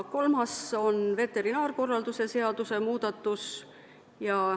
Kolmas on veterinaarkorralduse seaduse muudatus.